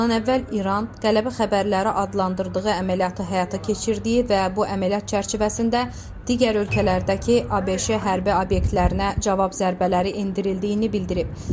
Bundan əvvəl İran Tələbə Xəbərləri adlandırdığı əməliyyatı həyata keçirdiyi və bu əməliyyat çərçivəsində digər ölkələrdəki ABŞ-ə hərbi obyektlərinə cavab zərbələri endirildiyini bildirib.